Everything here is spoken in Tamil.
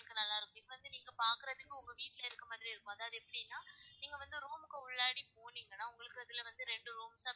உங்களுக்கு நல்லா இருக்கும் இது வந்து நீங்க பாக்குறதுக்கு உங்க வீட்டுலஇருக்குற மாறியே இருக்கும். அதாவது எப்படினா, நீங்க வந்து room க்கு உள்ளாடி போனீங்கனா உங்களுக்கு அதுல வந்து ரெண்டு rooms